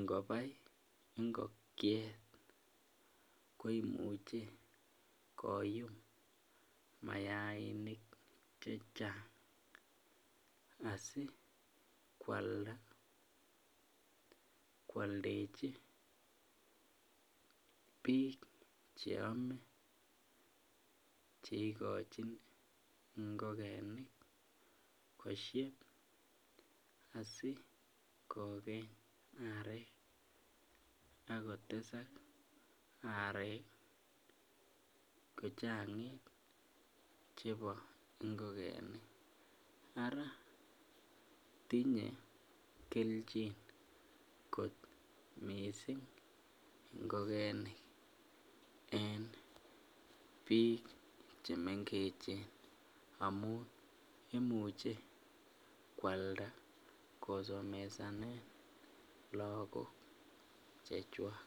,ngobai ngokiet koimuche koyum mayainik chechang asikwalda kwoldechi cheame, cheikochin ngokenik asikokeny arek kochang'it chebo ngokenik ara tinye kelchin ngokenik kot missing ngokenik en biik chemengechen imuche kwalda kosomesanen lagok chechwak.